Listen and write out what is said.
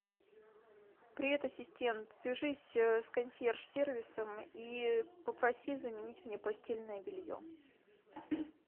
привет ассистент свяжись с консьерж сервисом и попроси заменить мне постельное белье